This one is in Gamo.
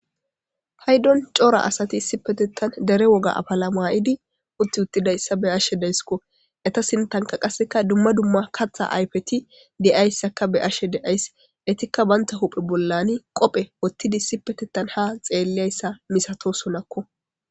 Payddon corra asatti derre wogga affala mayiddi uttiuttidayssa be'she dayskko etta sinttan dumma dumma qatha ayffeti dezzayssa be'she de'ys bantta uphe bollan qophe wothidi ha xellessa messatossonakko.